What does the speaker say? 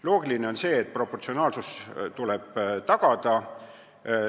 Loogiline on see, et tuleb tagada proportsionaalsus.